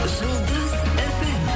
жұлдыз фм